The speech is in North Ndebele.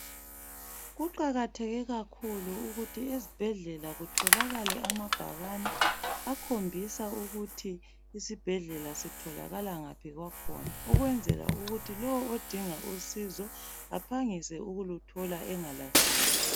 Kuqakatheke kakhulu ukuthi esibhedlela kutholakale amabhakane akhombisa ukuthi isibhedlela sitholakala ngaphi kwakhona ukwenzela ukuthi lowo odinga usizo aphangise ukuluthola angalahleki.